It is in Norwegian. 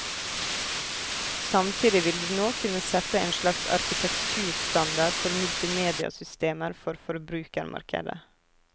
Samtidig vil de nå kunne sette en slags arkitekturstandard for multimediasystemer for forbrukermarkedet.